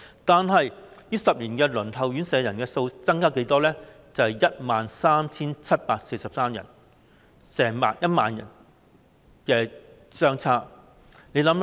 但是，這10年間，輪候院舍的人數卻增加了 13,743 人，跟之前相差了 10,000 人。